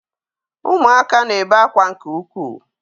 Ụmụaka na-ebe ákwá nke ukwuu